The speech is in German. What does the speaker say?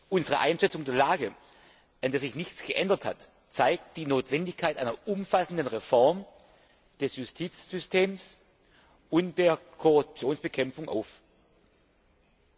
Unsere Einschätzung der Lage, an der sich nichts geändert hat, zeigt die Notwendigkeit einer umfassenden Reform des Justizsystems und der Bekämpfung der Korruption auf.